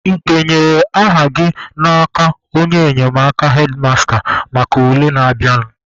Ị denyere aha gị n'aka onye enyemaka hedmasta maka ule na-abịanụ?